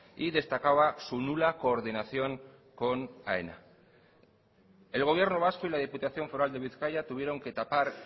y destacaba su nula coordinación con aena el gobierno vasco y la diputación foral de bizkaia tuvieron que tapar